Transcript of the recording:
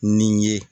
Nin ye